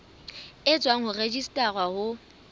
e tswang ho registrar of